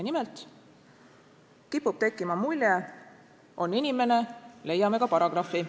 Nimelt kipub tekkima mulje, et "on inimene, leiame ka paragrahvi".